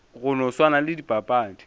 go no swana le dipapadi